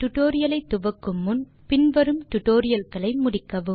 tutorial ஐ ஆரம்பிக்கும் முன் பின் வரும் டுடோரியல்களை முடித்திருக்க வேண்டும்